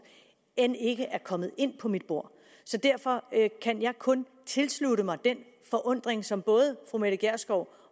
end ikke er kommet ind på mit bord derfor kan jeg kun tilslutte mig den forundring som både fru mette gjerskov